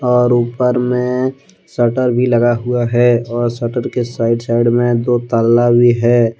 और ऊपर में शटर भी लगा हुआ है और शटर के साइड साइड में दो ताला भी है।